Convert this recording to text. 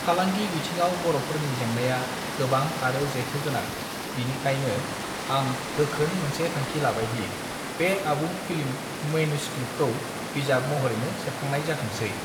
फालांगि बिथिङाव बरफोरनि जेंनाया गोबां आरो जेथो गोनां बिनिखायानो आं गोखों मोनसे थांखि लाबायदि बे आबुं फिल्म मॅन्युस्क्रिप्ट्स खौ बिजाब महरैनो सेबखांनाय जाथोंसै